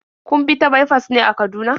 Kun bi ta baifas ne a Kaduna?